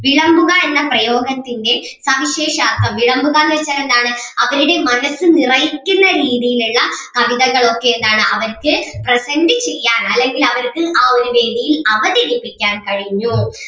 വിളമ്പുക എന്ന പ്രയോഗത്തിൻ്റെ സവിശേഷാർത്ഥം വിളമ്പുക എന്ന് വെച്ചാൽ എന്താണ് അവരുടെ മനസ്സ് നിറയ്ക്കുന്ന രീതിയിൽ ഉള്ള കവിതകൾ ഒക്കെ എന്താണ് അവർക്ക് present ചെയ്യാൻ അല്ലെങ്കിൽ അവർക്ക് ആ ഒരു വേദിയിൽ അവതരിപ്പിക്കാൻ കഴിഞ്ഞു.